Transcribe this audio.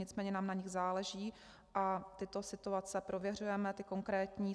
Nicméně nám na nich záleží a tyto situace prověřujeme, ty konkrétní.